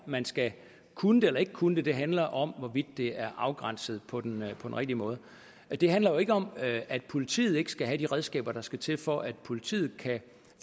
man skal kunne det eller ikke kunne det det handler om hvorvidt det er afgrænset på den rigtige måde det handler jo ikke om at politiet ikke skal have de redskaber der skal til for at politiet kan